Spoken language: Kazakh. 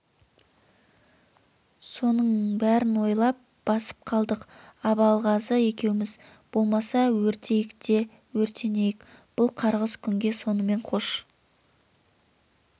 соның берін ойлап басып қалдық абалғазы екеуміз болмаса өртейік те өртенейік бұл қарғыс күнге сонымен қош